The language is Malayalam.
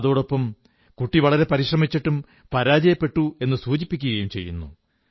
അതോടൊപ്പം കുട്ടി വളരെ പരിശ്രമിച്ചിട്ടും പരാജയപ്പെട്ടുവെന്നു സൂചിപ്പിക്കുകയും ചെയ്യുന്നു